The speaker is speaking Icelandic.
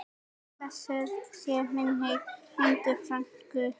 Blessuð sé minning Lindu frænku.